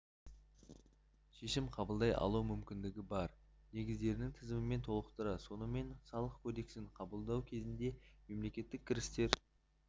шешім қабылдай алу мүмкіндігі бар негіздердің тізімімен толықтырылды сонымен салық кодексін қабылдау кезінде мемлекеттік кірістер